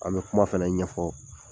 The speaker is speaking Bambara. An be kuma fɛnɛ ɲɛfɔ